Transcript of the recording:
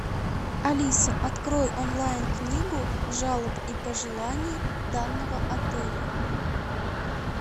алиса открой онлайн книгу жалоб и пожеланий данного отеля